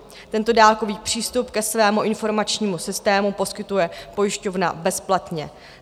Tento dálkový přístup ke svému informačnímu systému poskytuje pojišťovna bezplatně.